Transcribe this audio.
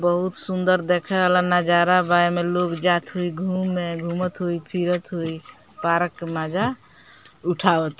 बहुत सुन्दर देखे वाला नजारा बा। एमें लोग जात होइ घूमे घुमत होइ फिरत होइ पारक के मजा उठावत --